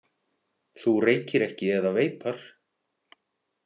Þú reykir ekki eða veipar?